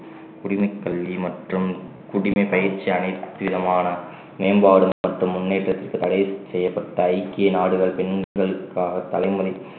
குடிமைக் கல்வி மற்றும் குடிமைப் பயிற்சி அனைத்து விதமான மேம்பாடு மற்றும் முன்னேற்றத்திற்கு தடை செய்யப்பட்ட ஐக்கிய நாடுகள் பெண்களுக்காக தலைமுறை